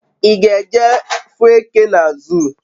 I g'eje afu eke na zoo?